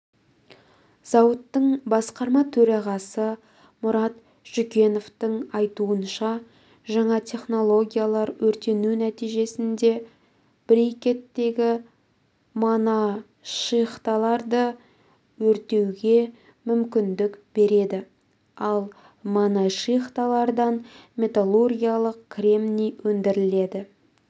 зауыттың басқарма төрағасы мұрат жүкеновтің айтуынша жаңа технологиялар өртену нәтижесінде брикеттегі моношихталарды өңдеуге мүмкіндік береді ал моношихталардан металлургиялық кремний өндіріледі